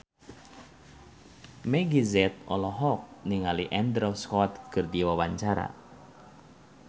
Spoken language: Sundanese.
Meggie Z olohok ningali Andrew Scott keur diwawancara